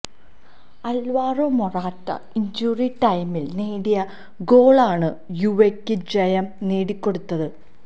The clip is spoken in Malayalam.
ആല്വാരോ മൊറാറ്റ ഇഞ്ചുറി ടൈമില് നേടിയ ഗോളാണ് യുവെയ്ക്കു ജയം നേടിക്കൊടുത്തത്